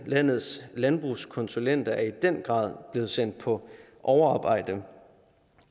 landets landbrugskonsulenter er i den grad blevet sendt på overarbejde